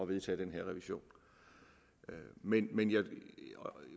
vedtage den her revision men men jeg